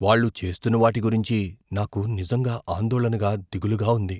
వాళ్ళు చేస్తున్న వాటి గురించి నాకు నిజంగా ఆందోళనగా, దిగులుగా ఉంది.